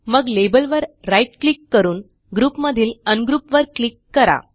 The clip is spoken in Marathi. मग लेबलवर राईट क्लिक करून ग्रुप मधीलUngroup वर क्लिक करा